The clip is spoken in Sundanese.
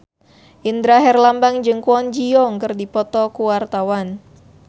Indra Herlambang jeung Kwon Ji Yong keur dipoto ku wartawan